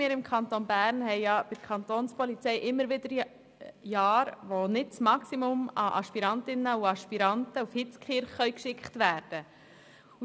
Im Kanton Bern gibt es immer wieder Jahre, in welchen die Kapo nicht das Maximum an Aspirantinnen und Aspiranten nach Hitzkirch in die Polizeischule schicken kann.